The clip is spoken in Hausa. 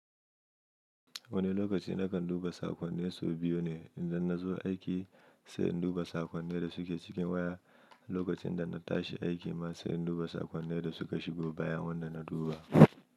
Wani lokaci nakan duba sakonni sau biyu ne, indan na zo aiki sai in duba sakonni da suke cikin waya, lokacin da na tashi aiki ma sai in duba sakonnai da suka shigo bayan wanda na duba.